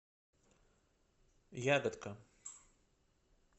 ягодка